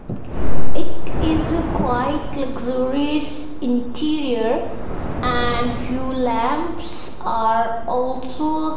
it is a quiet luxurious interior and few lamps are also --